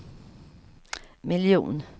miljon